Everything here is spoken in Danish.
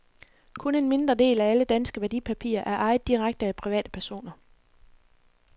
Kun en mindre del af alle danske værdipapirer er ejet direkte af private personer.